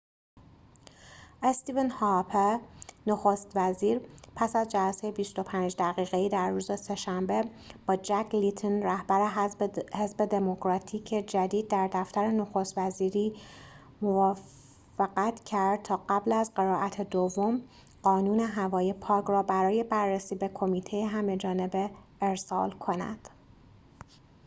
استیون هارپر نخست وزیر پس از جلسه ۲۵ دقیقه‌ای در روز سه‌شنبه با جک لیتون رهبر حزب دموکراتیک جدید در دفتر نخست وزیری موفقت کرد تا قبل از قرائت دوم قانون هوای پاک را برای بررسی به کمیته همه‌جانبه ارسال کند